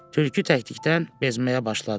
Tülkü təklikdən bezməyə başladı.